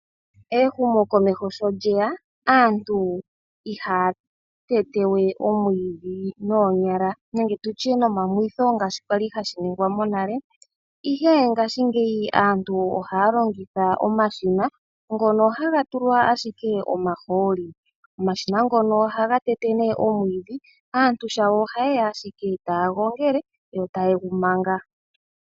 Ehumo komeho sho lyeya, aantu ihaya tete we omwiidhi noonyala nenge tutye nomamwitho ngaashi kwali hashi ningwa monale. Ihe ngashingeyi aantu ohaya longitha omashina ngono haga tulwa ashike omahooli. Omashina ngono ohaga tete nduno omwiidhi, aantu shawo oha yeya ashike taya gongele yo taye gu manga.